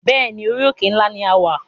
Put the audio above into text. Bẹ́ẹ̀ni, orí òkè ńlá ní a wà